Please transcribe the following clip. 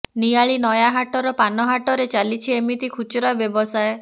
ନିଆଳି ନୟାହାଟର ପାନ ହାଟରେ ଚାଲିଛି ଏମିତି ଖୁଚୁରା ବ୍ୟବସାୟ